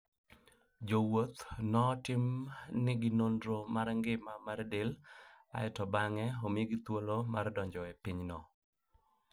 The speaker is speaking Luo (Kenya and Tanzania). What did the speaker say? Jowuoth notim ni gi nonro mar ngima mar del kae to bang'e omigi thuolo mar donjo e piny no.